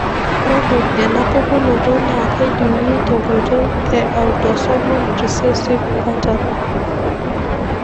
Ore enapukunoto naa kejungi tenkoitoi e autosomal recessive pattern.